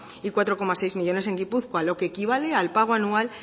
y cuatro coma seis millónes en gipuzkoa lo que equivale al pago anual